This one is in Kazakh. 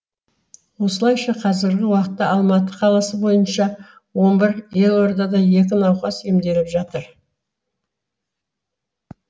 осылайша қазіргі уақытта алматы қаласы бойынша он бір елордада екі науқас емделіп жатыр